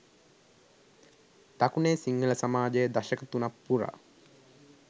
දකුණේ සිංහල සමාජය දශක තුනක් පුරා